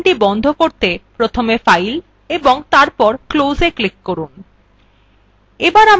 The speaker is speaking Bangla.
documentটি বন্ধ করতে প্রথমে file এবং তারপর closeএ ক্লিক করুন